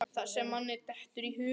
Það sem manni dettur í hug!